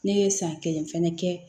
Ne ye san kelen fana kɛ